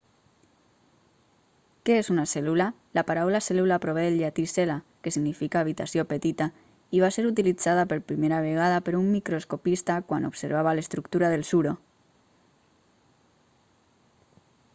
què és una cèl·lula la paraula cèl·lula prové del llatí cella que significa habitació petita i va ser utilitzada per primera vegada per un microscopista quan observava l'estructura del suro